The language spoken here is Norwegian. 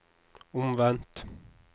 omvendt